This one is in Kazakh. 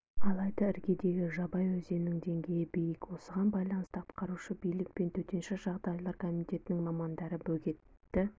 алайда іргедегі жабай өзенінің деңгейі биік осыған байланысты атқарушы билік пен төтенше жағдайлар комитетінің мамандары бөгетті